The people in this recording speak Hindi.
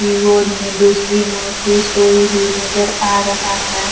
इ गोद में दूसरी मूर्ति सोइ हुई नज़र आ रहा है।